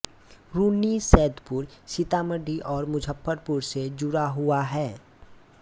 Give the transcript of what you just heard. रून्नीसैदपुर सीतामढ़ी और मुजफ्फरपुर से जुड़ा हुआ है